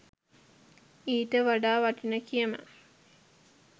ඊට වඩා වටින කියමන්